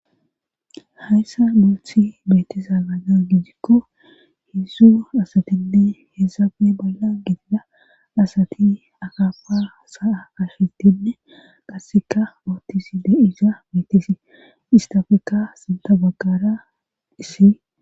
hayssa muothi betezaalana gijikko hidzzu asatinne heesafe balla gidida asati akappa saa ashitinne qasseka oottisi de isa mitesi istafekka sinta bagqara issi